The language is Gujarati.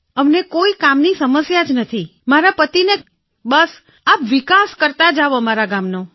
અમને કોઈ સમસ્યા નથી મારા પતિને બસ આપ વિકાસ કરતા જાવ અમારા ગામનો